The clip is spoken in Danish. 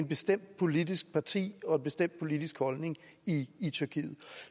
bestemt politisk parti og en bestemt politisk holdning i i tyrkiet